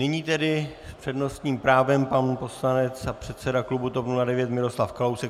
Nyní tedy s přednostním právem pan poslanec a předseda klubu TOP 09 Miroslav Kalousek.